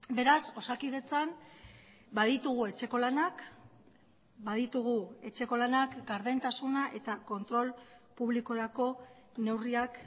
beraz osakidetzan baditugu etxeko lanak baditugu etxeko lanak gardentasuna eta kontrol publikorako neurriak